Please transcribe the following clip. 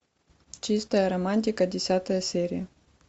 чистая романтика десятая серия